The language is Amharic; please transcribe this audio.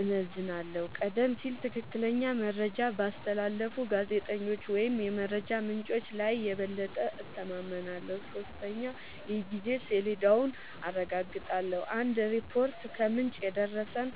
እመዝናለሁ :-ቀደም ሲል ትክክለኛ መረጃ ባስተላለፉ ጋዜጠኞች ወይም የመረጃ ምንጮች ላይ የበለጠ እተማመናለሁ። 3 የጊዜ ሰሌዳውን አረጋግጣለሁ :- አንድ ሪፖርት "ከምንጭ የደረሰን"